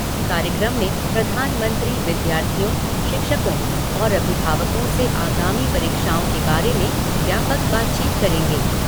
कार्यक्रम में प्रधानमंत्री विद्यार्थियों, शिक्षकों और अभिभावकों से आगामी परीक्षाओं के बारे में व्यापक बातचीत करेंगे।